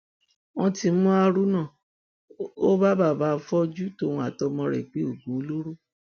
wọn ti mú haruna ó bàbà afọjú tóun àtọmọ rẹ ń gbé oògùn olóró